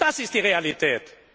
Das ist die Realität!